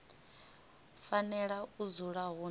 fanela u dzula hu na